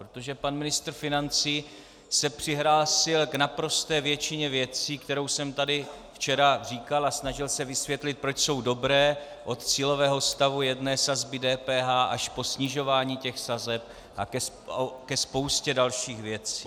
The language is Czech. Protože pan ministr financí se přihlásil k naprosté většině věcí, které jsem tady včera říkal a snažil se vysvětlit, proč jsou dobré, od cílového stavu jedné sazby DPH až po snižování těch sazeb a ke spoustě dalších věcí.